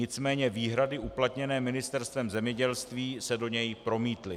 Nicméně výhrady uplatněné Ministerstvem zemědělství se do něj promítly.